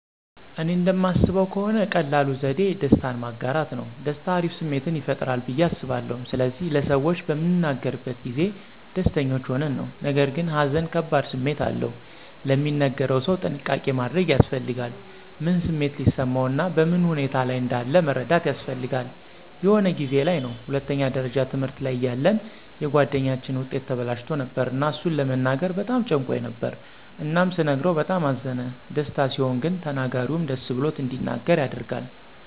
እኔ እንደማስበው ከሆነ ቀላሉ ዘዴ ደስታን ማጋራት ነው። ደስታ አሪፍ ስሜትን ይፈጥራል ብዬ አስባለሁ ስለዚህ ለሰዎች በምንናገርበት ጊዜ ደስተኞች ሆነን ነው። ነገርግን ሃዘን ከባድ ስሜት አለው፤ ለሚነገረው ሰው ጥንቃቄ ማድረግ ያስፈልጋል። ምን ስሜት ሊሰማው እና በምን ሁኔታ ላይ እንዳለ መረዳት ያስፈልጋል። የሆነ ጊዜ ላይ ነው ሁለተኛ ደረጃ ትምህርት ላይ እያለን የጉአደኛችን ዉጤት ተበላሽቶ ነበር እና እሱን ለመናገር በጣም ጨንቆኝ ነበር እናም ስነግረው በጣም አዘነ። ደስታ ሲሆን ግን ተናጋሪውም ደስ ብሎት እንዲናገር ያደርጋል።